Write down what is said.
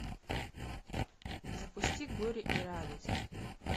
запусти горе и радость